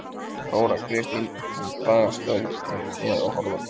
Þóra Kristín: En hvaða störf eru þið að horfa til?